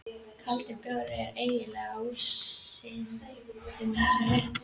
Kaldur bjór er eiginlega ómissandi með þessum rétti.